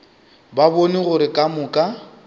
ba bone gore ka moka